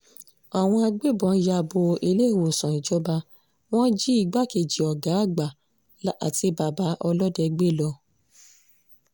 àwọn agbébọn ya bo iléèwòsàn ìjọba wọn jí igbákejì ọ̀gá àgbà àti bàbá ọlọ́dẹ gbé lọ